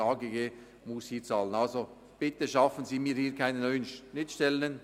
Bitte schaffen Sie mir hier keine neuen Schnittstellen.